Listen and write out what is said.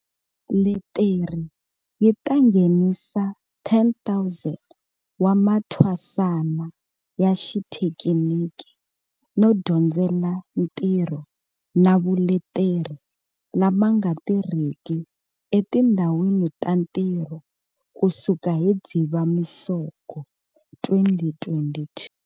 Leteri yi ta nghenisa 10 000 wa mathwasana ya xithekiniki no dyondzela ntirho na vuleteri lama nga tirhiki etindhawini ta ntirho kusuka hi Dzivamisoko 2022.